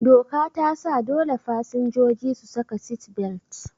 Doka tasa dole fasinjoji su saka sit-belt